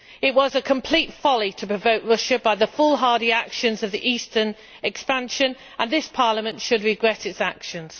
It was a complete folly to provoke Russia by the foolhardy actions of the eastern expansion and this Parliament should regret its actions.